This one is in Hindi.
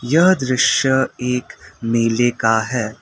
यह दृश्य एक मेले का है।